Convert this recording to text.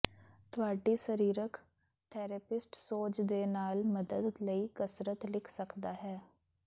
ਤੁਹਾਡੀ ਸਰੀਰਕ ਥੈਰੇਪਿਸਟ ਸੋਜ ਦੇ ਨਾਲ ਮਦਦ ਲਈ ਕਸਰਤ ਲਿਖ ਸਕਦਾ ਹੈ